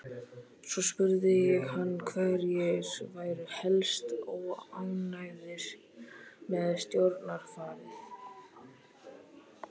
Svo spurði ég hana hverjir væru helst óánægðir með stjórnarfarið.